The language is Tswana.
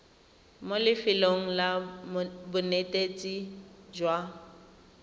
mo lefelong la bonetetshi jwa